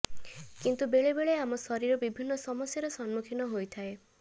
କିନ୍ତୁ ବେଳେବେଳେ ଆମ ଶରୀର ବିିଭିନ୍ନ ସମସ୍ୟାରେ ସମ୍ମୁଖୀନ ହୋଇଥାଏ